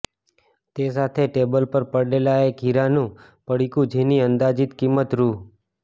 તે સાથે ટેબલ પર પડેલા એક હીરાનુ પડીકુ જેની અંદાજીત કિંમત રુ